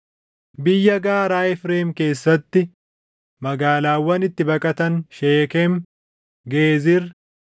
Biyya gaaraa Efreem keessatti magaalaawwan itti baqatan Sheekem, Geezir,